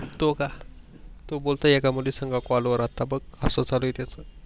तो का? तो बोलतो एका मुलीसंग कॉल वर आता अस चालू आहे त्याच